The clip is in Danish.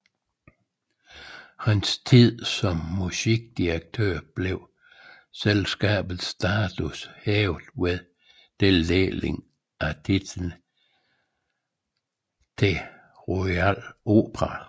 I hans tid som musikdirektør blev selskabets status hævet ved tildeling af titlen The Royal Opera